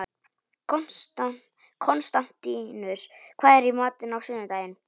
Konstantínus, hvað er í matinn á sunnudaginn?